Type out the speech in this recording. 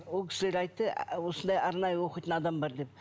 ол кісілер айтты осындай арнайы оқитын адам бар деп